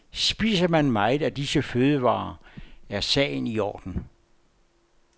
Spiser man meget af disse fødevarer er sagen i orden.